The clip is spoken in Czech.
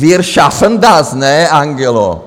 Wir schaffen das, ne Angelo?